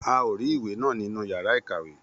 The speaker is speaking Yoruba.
A ò rì ìwé náà ní inú yàrá ìkàwé